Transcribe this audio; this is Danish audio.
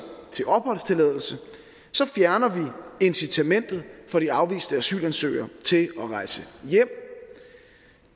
til opholdstilladelse fjerner vi incitamentet for de afviste asylansøgere til at rejse hjem